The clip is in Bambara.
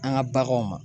An ka baganw ma